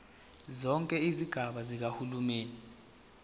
zonke izigaba zikahulumeni